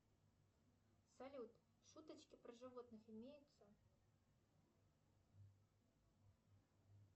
салют шуточки про животных имеются